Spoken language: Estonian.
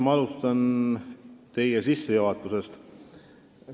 Ma alustan teie sissejuhatusest.